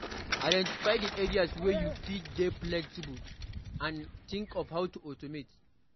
Identify di areas wey you fit dey flexible and think of how to automate